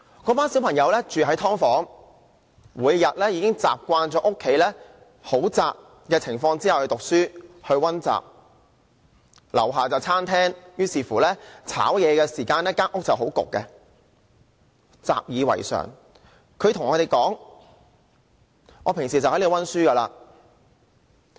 那群小朋友住在"劏房"，已經習慣每天在狹窄的家中讀書和溫習；樓下是餐廳，炒菜時間家裏會很翳焗，但他們習以為常，平時就在那裏溫習。